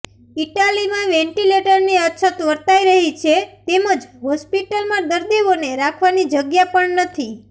ઈટાલીમાં વેન્ટિલેટરની અછત વર્તાઈ રહી છે તેમજ હોસ્પિટલમાં દર્દીઓને રાખવાની જગ્યા પણ નથી